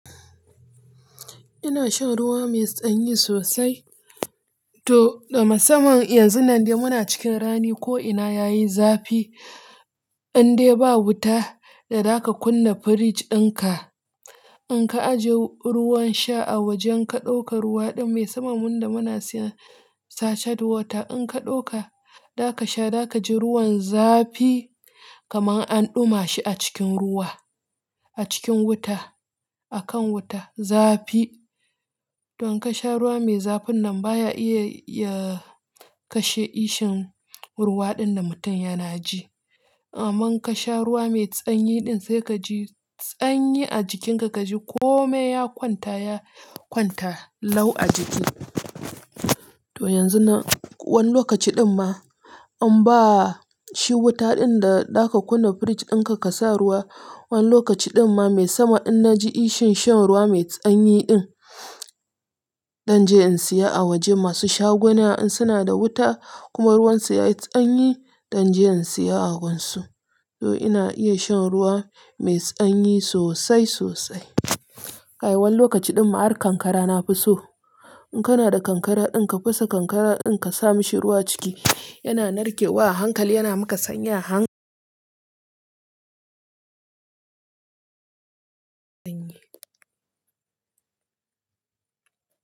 Ina shan ruwa mai tsanyi sosai. To, da musamman yanzun nan muna cikin rani ko'ina yayi zafi, indai ba wuta da zaka kunna fridge dinka. In ka ajiye ruwan sha a wajen in ka ɗauka ruwa ɗin musamman muda muna siyan sachet water in ka ɗauka, za ka sha za kaji ruwan zafi kamar an ɗuma shi a cikin ruwa, a cikin wuta, a kan wuta zafi. Don ka sha ruwa mai zafin nan baya iya ya kashe ishun ruwa ɗin da mutum yana ji. Amma ka sha ruwa mai tsanyi ɗin sai ka ji tsanyi a jikinka, ka ji kome ya kwanta, ya kwanta lau a jiki. To yanzun nan wani lokaci ɗin ma an ba shi wuta ɗin da za ka kunna fridge dinka ka sa ruwa. Wani lokaci ɗin ma mai sama in na ji ishun shan ruwa mai tsanyi ɗin, dan je in siya a wajen masu shaguna in suna da wuta kuma ruwan su yayi tsanyi, dan je in siya a gunsu. To ina iya shan ruwa mai tsanyi sosai sosai. Kai wani lokaci ɗin ma har kankara na fi so. In kana da kankara ɗin ka fasa kankara ɗin ka sa mashi ruwa ciki, yana narke wa hankali yana maka sanya hank-